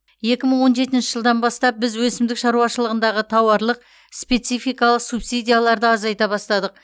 екі мың он жетінші жылдан бастап біз өсімдік шаруашылығындағы тауарлық спецификалық субсидияларды азайта бастадық